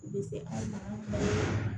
I bɛ se an ka